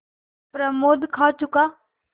प्रमोद खा चुका